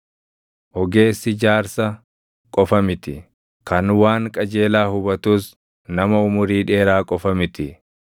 Ogeessi jaarsa qofa miti; kan waan qajeelaa hubatus, nama umurii dheeraa qofa miti.